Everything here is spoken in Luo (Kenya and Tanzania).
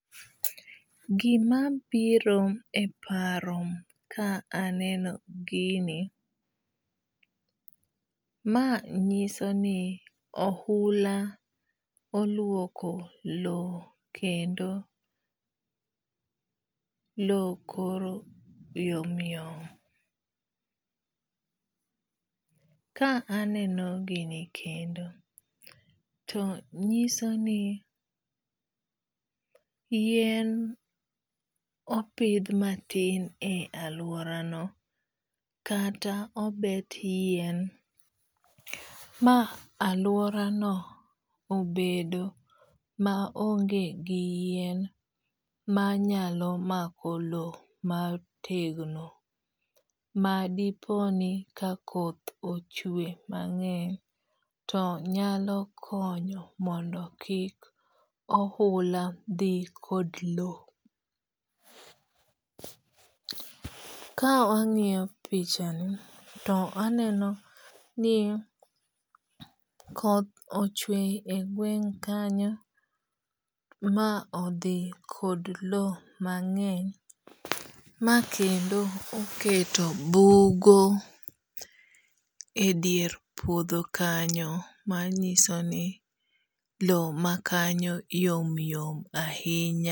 Gima biro e paro ka aneno gini, ma nyiso ni ohula oluoko low kendo low koro yom yom. Ka aneno gini kendo to nyiso ni yien opidh matin e aluora no kata obet yien ma aluora no obedo ma onge gi yien manyalo mako low motegno ma dipo ni ka koth ochwe mang'eny to nyalo konyo mondo kik ohula dhi kod low. Ka wang'iyo pichani to aneno ni koth ochwe e gweng' kanyo ma odhi kod low mang'eny ma kendo oketo bugo e dier puodho kanyo manyiso ni low ma kanyo yom yom ahinya.